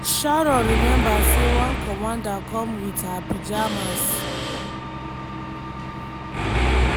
sharon remember say one commander come wit her pyjamas.